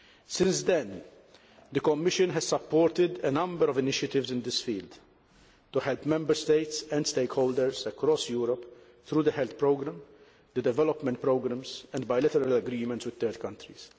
Since then, the Commission has supported a number of initiatives in this field to help Member States and stakeholders across Europe through the Health Programme, the development programmes and bilateral agreements with third countries.